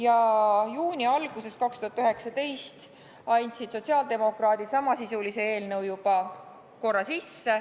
2019. aasta juuni alguses andsid sotsiaaldemokraadid samasisulise eelnõu korra juba sisse.